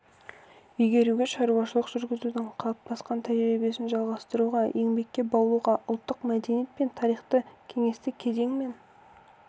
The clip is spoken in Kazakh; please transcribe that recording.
игеруге шаруашылық жүргізудің қалыптасқан тәжірибесін жалғастыруға еңбекке баулуға ұлттық мәдениет пен тарихты кеңестік кезең мен